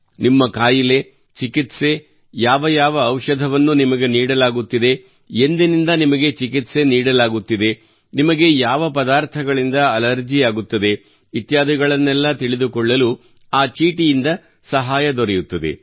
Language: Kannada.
ನಿಮ್ಮ ಕಾಯಿಲೆ ಚಿಕಿತ್ಸೆ ಯಾವ ಯಾವ ಔಷಧವನ್ನು ನಿಮಗೆ ನೀಡಲಾಗುತ್ತಿದೆ ಎಂದಿನಿಂದ ನಿಮಗೆ ಚಿಕಿತ್ಸೆ ನೀಡಲಾಗುತ್ತಿದೆ ನಿಮಗೆ ಯಾವ ಪದಾರ್ಥಗಳಿಂದ ಅಲರ್ಜಿಯಾಗುತ್ತದೆ ಇತ್ಯಾದಿಗಳನ್ನೆಲ್ಲಾ ತಿಳಿದುಕೊಳ್ಳಲು ಆ ಚೀಟಿಯಿಂದ ಸಹಾಯ ದೊರೆಯುತ್ತದೆ